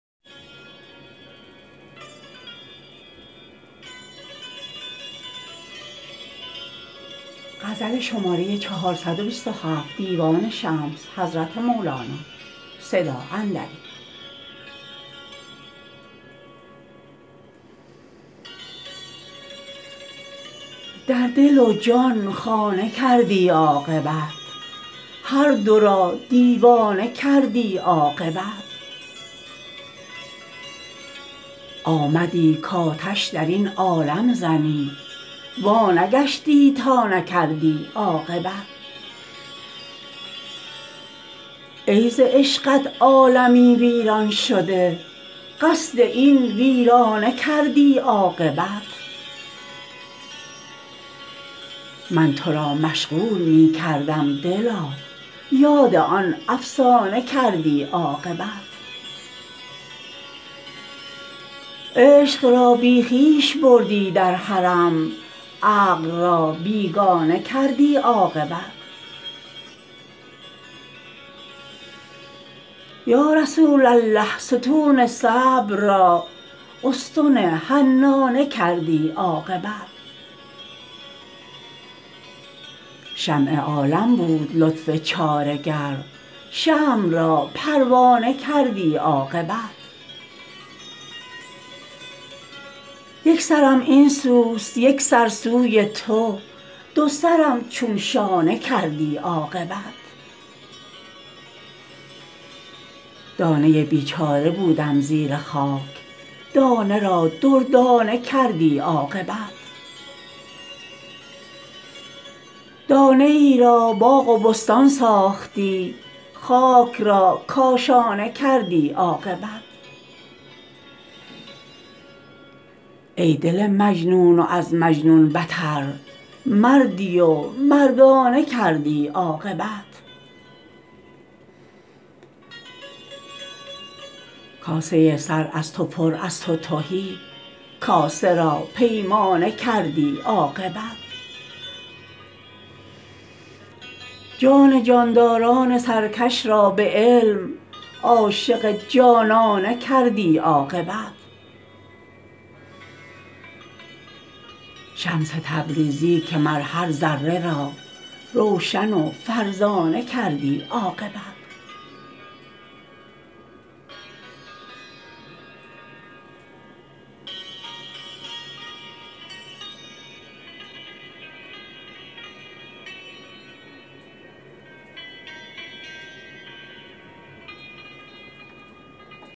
در دل و جان خانه کردی عاقبت هر دو را دیوانه کردی عاقبت آمدی کآتش در این عالم زنی وانگشتی تا نکردی عاقبت ای ز عشقت عالمی ویران شده قصد این ویرانه کردی عاقبت من تو را مشغول می کردم دلا یاد آن افسانه کردی عاقبت عشق را بی خویش بردی در حرم عقل را بیگانه کردی عاقبت یا رسول الله ستون صبر را استن حنانه کردی عاقبت شمع عالم بود لطف چاره گر شمع را پروانه کردی عاقبت یک سرم این سوست یک سر سوی تو دو سرم چون شانه کردی عاقبت دانه ای بیچاره بودم زیر خاک دانه را دردانه کردی عاقبت دانه ای را باغ و بستان ساختی خاک را کاشانه کردی عاقبت ای دل مجنون و از مجنون بتر مردی و مردانه کردی عاقبت کاسه سر از تو پر از تو تهی کاسه را پیمانه کردی عاقبت جان جانداران سرکش را به علم عاشق جانانه کردی عاقبت شمس تبریزی که مر هر ذره را روشن و فرزانه کردی عاقبت